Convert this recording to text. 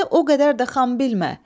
Məni o qədər də xan bilmə.